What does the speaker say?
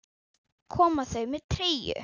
Koma þau með treyju?